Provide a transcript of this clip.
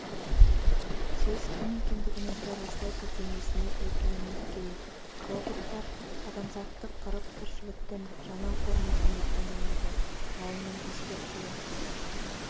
сіз кім екендігіңізді растау сілтемесіне өтуіңіз керек роботтар адамзатты қырып тіршіліктің жаңа формасына айналады ғалымның ескертуі